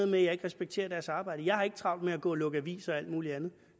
med at jeg ikke respekterer deres arbejde jeg har ikke travlt med at gå og lukke aviser og alt mulig andet